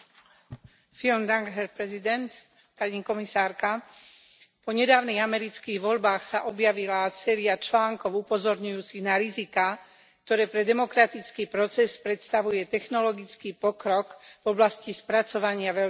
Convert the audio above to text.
Vážený pán predsedajúci. Po nedávnych amerických voľbách sa objavila séria článkov upozorňujúcich na riziká, ktoré pre demokratický proces predstavuje technologický pokrok v oblasti spracovania veľkých dát.